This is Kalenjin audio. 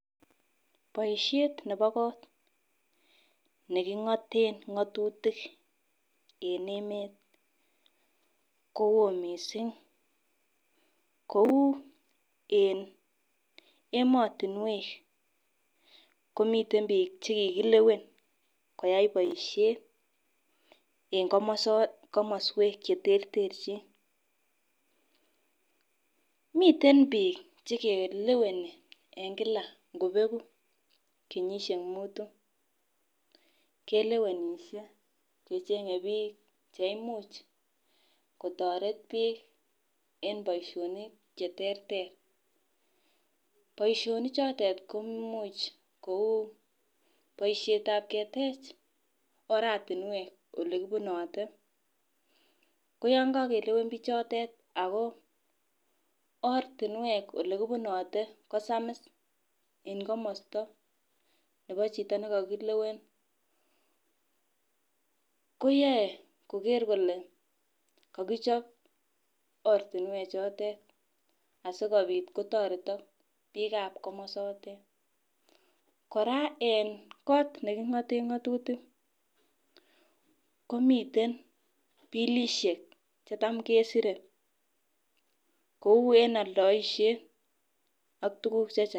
Boishet nebo kot nekingoten ngotutik en emet kowoo missing kou en komoso komoswek cheterterchin. Miten bik chekeleweni en kila ngobeku kenyishek mutu kelewenishe kechenge bik cheimuch kotoret bik en boishinik cheterter, boishonik chotet ko imuch kou boishetab ketech oratunwek olekibunote. ko yon kokelewen bichotet ako ortinwek chekibunote ko samiss en komosto nebo chito nekokilewen koyoe koker kole koichob ortinwek chotet asikopit kotoretok bikab komosotet. Koraa en kot nekingoten ngotutik komiten bilishek chetam kesire kou en oldoishet ak tuku chechang.